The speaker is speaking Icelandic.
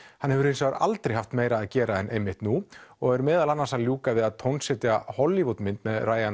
hann hefur hins vegar aldrei haft meira að gera en einmitt nú og er meðal annars að ljúka við að tónsetja Hollywood mynd með